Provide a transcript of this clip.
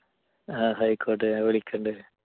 ആയിക്കോട്ടെ ഞാൻ വിളിക്കുന്നുണ്ട്.